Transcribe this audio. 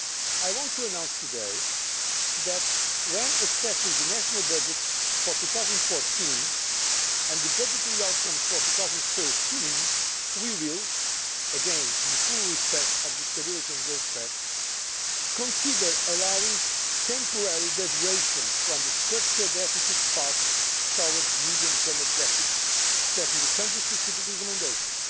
I want to announce today that, when assessing the national budgets for 2014 and the budgetary outcomes for 2013 we will again, in full respect of the Stability and Growth Pact consider allowing temporary deviations from the structural deficit path towards the medium term objectives set in the country specific recommendations,